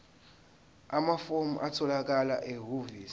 amafomu atholakala ehhovisi